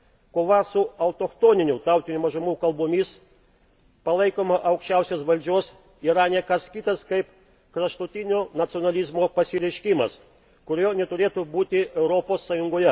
Kova su autochtoninių tautinių mažumų kalbomis, palaikoma aukščiausios valdžios, yra ne kas kitas kaip kraštutinio nacionalizmo pasireiškimas, kurio neturėtų būti Europos Sąjungoje.